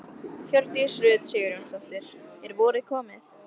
Hjördís Rut Sigurjónsdóttir: Er vorið komið?